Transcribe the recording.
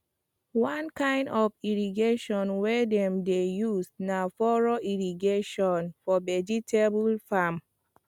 one kind of irrigation wey dem dey use na furrow irrigation for vegetable farm